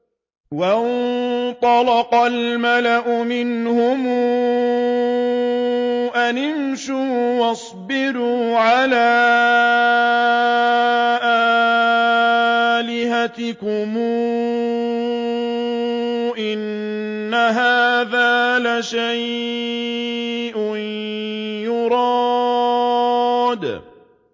وَانطَلَقَ الْمَلَأُ مِنْهُمْ أَنِ امْشُوا وَاصْبِرُوا عَلَىٰ آلِهَتِكُمْ ۖ إِنَّ هَٰذَا لَشَيْءٌ يُرَادُ